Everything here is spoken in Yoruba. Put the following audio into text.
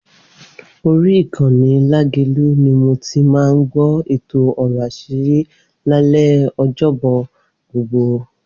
Orí ìkànnì Lágelú ni mo ti máa ń gbọ́ èto Ọ̀rọ̀ Aṣírí lálẹ́ Ọjọ́bọ̀ gbogbo.